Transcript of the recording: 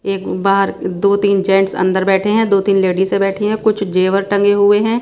एक बाहर दो तीन जेंट्स अंदर बैठे हैं दो तीन लेडिसे बैठी हैं कुछ जेवर टंगे हुए हैं।